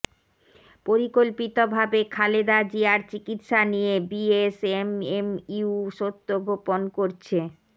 পরিকল্পিতভাবে খালেদা জিয়ার চিকিৎসা নিয়ে বিএসএমএমইউ সত্য গোপন করছে